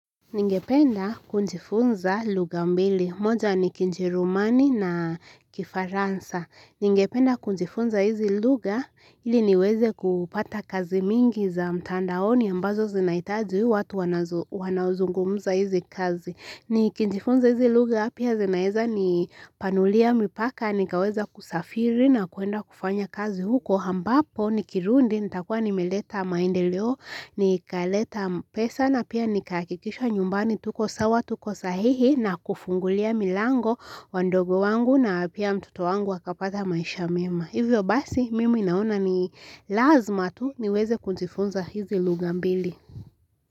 Ningependa kujifunza lugha mbili moja ni kijerumani na kifaransa Ningependa kujifunza hizi lugha ili niweze kupata kazi mingi za mtandaoni ambazo zinahitaji watu wanaozungumza hizi kazi Nikijifunza hizi lugha pia zinaeza nipanulia mipaka nikaweza kusafiri na kuenda kufanya kazi huko ambapo nikirundi nitakuwa nimeleta maendeleo nikaleta pesa na pia nikahakikisha nyumbani tuko sawa tuko sahihi na kufungulia milango wadogo wangu na pia mtoto wangu wakapata maisha mema Hivyo basi mimi naona ni lazima tu niweze kujifunza hizi lugha mbili.